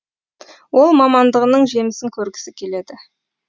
ол мамандығының жемісін көргісі келеді